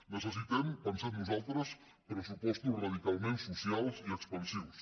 necessitem pensem nosaltres pressupostos radicalment socials i expansius